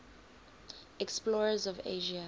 explorers of asia